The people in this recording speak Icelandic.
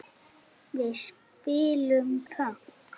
Við spilum pönk!